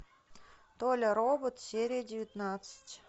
толя робот серия девятнадцать